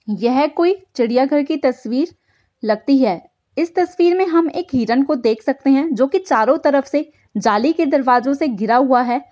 यह कोई चिड़ियाघर की तस्वीर लगती है। इस तस्वीर में हम एक हिरण को देख सकते हैं जो के चारों तरफ से जाली के दरवाजों से घिरा हुआ है।